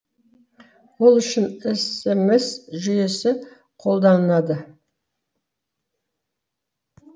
ол үшін смс жүйесі қолданылады